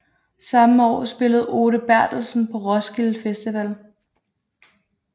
Samme år spillede Ole Berthelsen på Roskilde Festival